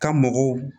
Ka mɔgɔw